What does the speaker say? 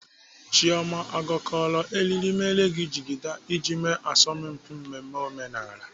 Chioma ọ gakọrọ eriri mere gị jigida iji eme asọmpi mmemme omenala?